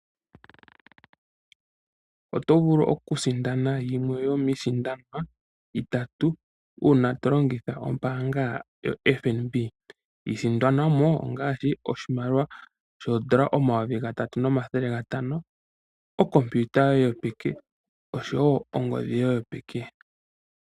Oto vulu oku sindana yimwe yomiisindanwa itatu, uuna tolongitha ombaanga yoFnb, iisindanwamo ongaashi, oshimaliwa shoo$3500.00, okompiyuta yo ye yopeke oshowo ongodhi yo ye yopeke.